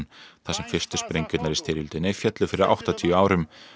þar sem fyrstu sprengjurnar í styrjöldinni féllu fyrir áttatíu árum